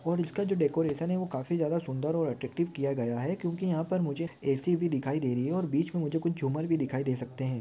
College का जो decoration है वो काफी ज्यादा सुंदर और अटॅ्रक्टिव्ह् किया गया है क्योंकि यहा पर मुझे ए_सी भी दिखाई दे रही है और बीच मे मुझे कुछ जुमर भी दिखाई दे सकते है।